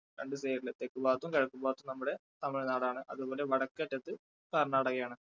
തെക്കുഭാഗത്തും കിഴക്കുഭാഗത്തും നമ്മുടെ തമിഴ്ന്നാട് ആണ് അതുപോലെ വടക്കേ അറ്റത്ത് കർണ്ണാടകയാണ്.